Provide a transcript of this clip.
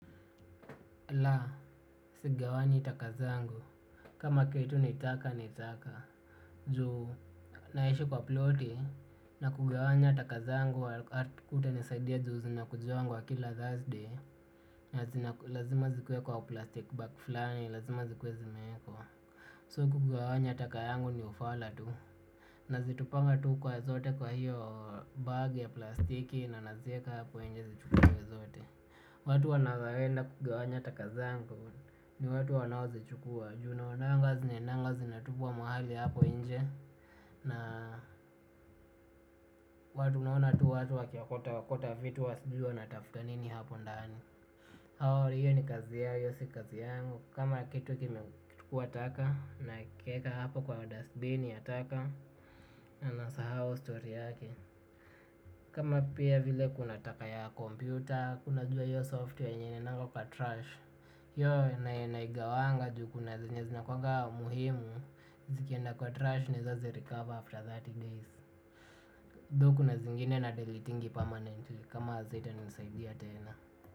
La, sigawanyi taka zangu. Kama kitu ni taka ni taka. Juu naishi kwa ploti na kugawanya taka zangu hakutanisaidia juu zinakujiangwa kila Thursday na lazima zikuwe kwa plastic bag fulani, lazima zikuwe zimewekwa. So kugawanya taka yangu ni ufala tu. Nazitupanga tu kwa zote kwa hiyo bag ya plastiki na naziweka hapo nje zichukuliwe zote. Watu wanaweza enda kugawanya taka zangu ni watu wanaozichukua. Juu naonanga zinaendanga zinatupwa mahali hapo nje. Na watu naona tu watu wakiokota okota vitu huwa sijui wanatafuta nini hapo ndani. Hao hiyo ni kazi yao hiyo si kazi yangu. Kama kitu kimekuwa taka nakiweka hapo kwa dust bin ya taka na nasahau story yake. Kama pia vile kuna taka ya kompyuta, unajua hiyo software yenye inaendanga kwa trash. Hiyo naigawanga juu kuna zenye zinakuanga muhimu zikienda kwa trash naweza zirecover after thirty days though kuna zingine nadeletingi permanently kama hazitanisaidia tena.